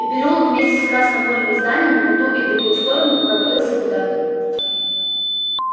и переулок вместе с красновато-бурыми зданиями по ту и другую сторону провалился куда-то